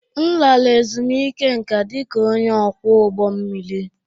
M lara ezumike nká dị ka onye ọkwọ ụgbọ mmiri